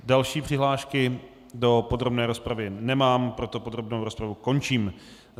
Další přihlášky do podrobné rozpravy nemám, proto podrobnou rozpravu končím.